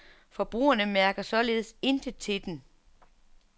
Forbrugerne mærker således intet til den.